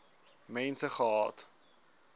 mense gehad